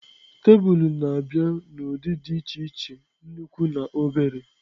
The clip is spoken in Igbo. Tebụl na-abịa n'ụdị dị iche iche, nnukwu na obere.